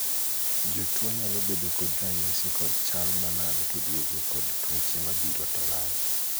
jotuo nyalo bedo kod ranyisi kod chal malal to duogo kod tuoche mabiro to lal